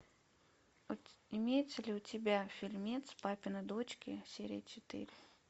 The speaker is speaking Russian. имеется ли у тебя фильмец папины дочки серия четыре